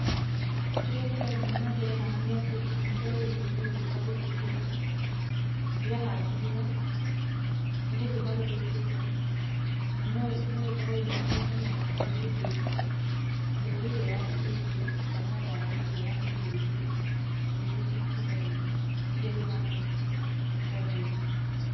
Kĩrĩa kĩrathiĩ na mbere haha nĩ atĩ itunda rĩrĩ nĩ gũthũka rĩthũkĩte. Rĩahandirwo, nĩ gũthũka rĩthũkĩte na no ĩkorwo yumanĩte na mbegũ njũru, mbegũ ĩrĩa yatũmĩkire kana ndawa iria yahuhĩrĩirio, ĩgĩthũkia itunda rĩrĩ, nĩkio rĩhana ũguo, rĩgathũka.